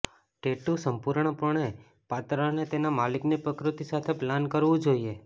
tattoo સંપૂર્ણપણે પાત્ર અને તેના માલિકની પ્રકૃતિ સાથે પાલન કરવું જોઈએ